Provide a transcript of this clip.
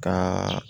Ka